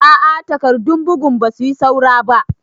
A a takardun bugun ba su yi saura ba.